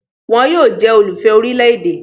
Wọ́n yóò jẹ́ olùfẹ́ orílè-èdè